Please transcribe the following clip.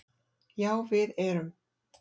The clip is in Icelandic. Já við erum